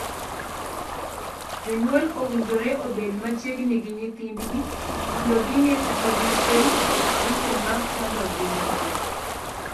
Jonyuol owinjore obed machiegni gi nyithindgi mondo ging'ee kata gifweny giko ma chando ngimagi.